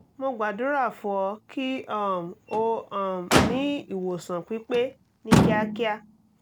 mo gbàdúrà fún ọ kí um o um ní ìwòsàn pípé ní kíákíá